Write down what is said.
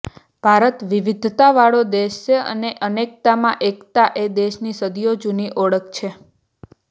ભારત વિવિધતાવાળો દેશ છે અને અનેકતામાં એકતા એ દેશની સદીઓ જૂની ઓળખ છે